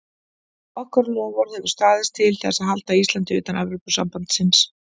Okkar loforð hefur staðið til þess að halda Íslandi utan Evrópusambandsins.